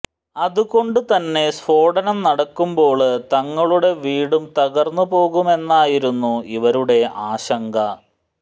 അതുകൊണ്ട് തന്നെ സ്ഫോടനം നടക്കുമ്പോള് തങ്ങളുടെ വീടും തകര്ന്ന് പോകുമെന്നായിരുന്നു ഇവരുടെ ആശങ്ക